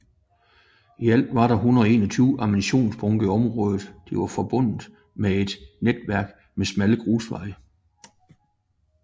I alt var der 121 ammunitionsbunker i området de var forbundet med et netværk med smalle grusveje